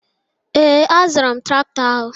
Ee, azụrụ m traktọ ahụ